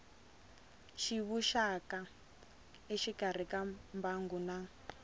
tivuxaka exikarhi ka mbangu na